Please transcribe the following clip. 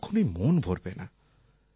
কখনই মন ভরবে না